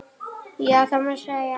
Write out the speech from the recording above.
Já, það má segja.